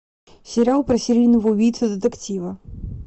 сериал про серийного убийцу детектива